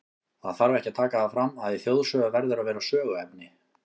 Það þarf ekki að taka það fram, að í þjóðsögu verður að vera söguefni.